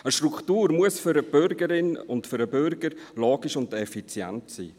Eine Struktur muss für die Bürgerin und für den Bürger logisch und effizient sein.